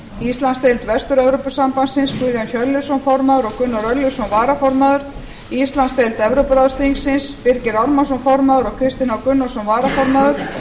íslandsdeild vestur evrópusambandsins guðjón hjörleifsson formaður og gunnar örlygsson varaformaður íslandsdeild evrópuráðsþingsins birgir ármannsson formaður og kristinn h gunnarsson varaformaður